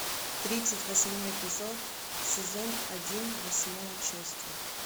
тридцать восьмой эпизод сезон один восьмое чувство